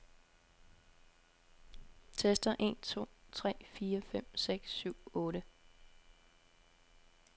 Tester en to tre fire fem seks syv otte.